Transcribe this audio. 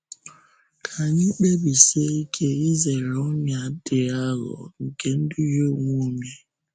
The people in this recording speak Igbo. Ká anyị kpèbisie ike izere ọnyà dị àghụ̀ghọ̀ nke ịdùhie onwe onye.